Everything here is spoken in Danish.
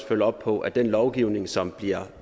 følge op på at den lovgivning som bliver